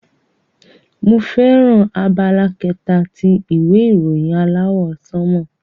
Emi fẹràn abala kẹta ti ìwé ìròyìn aláwọ̀ sánmọ̀.